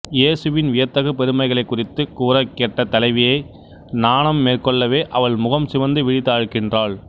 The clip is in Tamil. இயேசுவின் வியத்தகு பெருமைகளைக் குறத்தி கூறக் கேட்ட தலைவியை நாணம் மேற்கொள்ளவே அவள் முகம் சிவந்து விழி தாழ்க்கின்றாள்